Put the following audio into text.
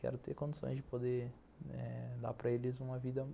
Quero ter condições de poder dar para eles uma vida melhor.